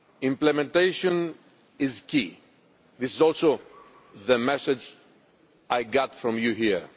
implementation is key. This is also the message I got from you here.